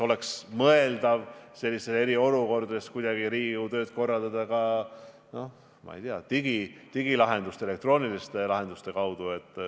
Tuleb mõelda, kas sellistes eriolukordades oleks võimalik korraldada Riigikogu tööd ka digilahenduste, elektrooniliste lahenduste kaudu.